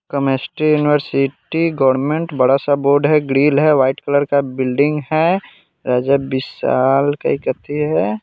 chemistry university government बड़ा सा board है ग्रिल है व्हाइट कलर का बिल्डिंग है राजा विशाल के कथि है